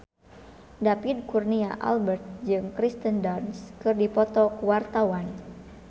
David Kurnia Albert jeung Kirsten Dunst keur dipoto ku wartawan